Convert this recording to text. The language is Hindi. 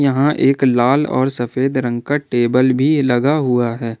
यहां एक लाल और सफेद रंग का टेबल भी लगा हुआ है।